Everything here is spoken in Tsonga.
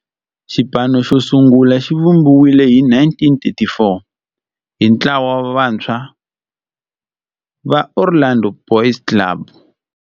Xipano xosungula xivumbiwile hi 1934 hi ntlawa wa vantshwa va Orlando Boys Club.